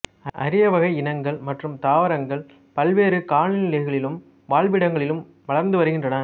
அரிய வகை இனங்கள் மற்றும் தாவரங்கள் பல்வேறு காலநிலைகளிலும் வாழ்விடங்களிலும் வளர்ந்து வருகின்றன